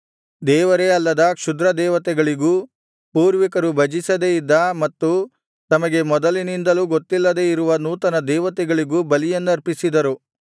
ದೇವರೇ ಅಲ್ಲದ ಕ್ಷುದ್ರದೇವತೆಗಳಿಗೂ ಪೂರ್ವಿಕರು ಭಜಿಸದೆ ಇದ್ದ ಮತ್ತು ತಮಗೆ ಮೊದಲಿನಿಂದಲೂ ಗೊತ್ತಿಲ್ಲದೆ ಇರುವ ನೂತನದೇವತೆಗಳಿಗೂ ಬಲಿಯನ್ನರ್ಪಿಸಿದರು